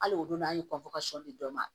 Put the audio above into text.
Hali o don n'a ye sɔni dɔ ma